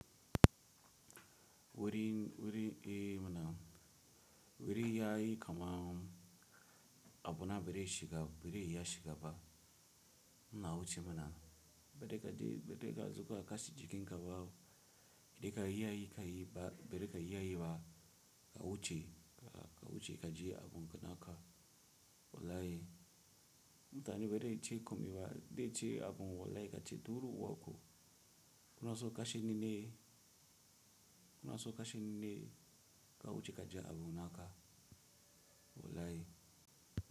Wuri, wuri, eh mana wuri yayi kama abuna biri shiga biri iya shiga ba. Na wuce mana bede kaji bede ka zuwa kashi jikin ka bawo. Idan ka yi yayi ka yi ba bede ka yi yayi ba ka wuce ka wuce ka ji abun naka wulai. Mutane bede ce komi ba de ce abun wulai ka ce durun u waku. Kunaso kashe nine kunaso kashe nine ka wuce ka ji abun naka wulai.